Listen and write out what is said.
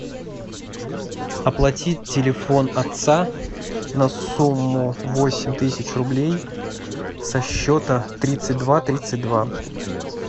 оплатить телефон отца на сумму восемь тысяч рублей со счета тридцать два тридцать два